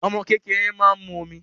Omo kékeré máa ń mu ọmú